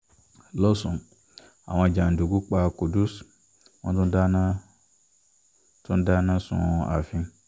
lọ́sùn àwọn jàǹdùkú pa qudus wọ́n tún dáná tún dáná sun ààfin